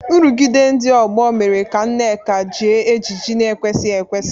Nrụgide ndị ọgbọ mere ka Nneka jie ejiji na-ekwesịghị ekwesị.